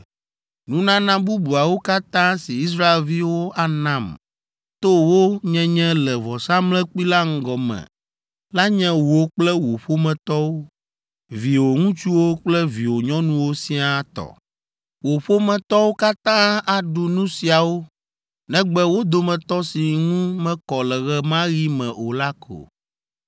“Nunana bubuawo katã si Israelviwo anam to wo nyenye le vɔsamlekpui la ŋgɔ me la nye wò kple wò ƒometɔwo, viwò ŋutsuwo kple viwò nyɔnuwo siaa tɔ. Wò ƒometɔwo katã aɖu nu siawo negbe wo dometɔ si ŋu mekɔ le ɣe ma ɣi me o la ko.